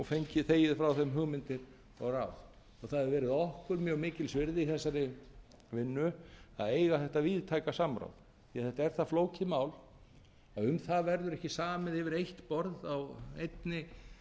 þegið frá þeim hugmyndir og ráð það hefur okkur mjög mikils virði í þessari vinnu að eiga þetta víðtæka samráð því þetta er það flókið mál að um það verður ekki samið yfir eitt borð